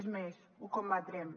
és més ho combatrem